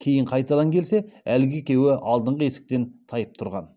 кейін қайтадан келсе әлгі екеу алдыңғы есіктен тайып тұрған